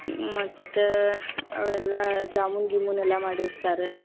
ಮತ್ತ ಅವೆಲ್ಲಾ ಜಾಮೂನ್ ಗಿಮೂನ ಎಲ್ಲಾ ಮಾಡಿರ್ತಾರ .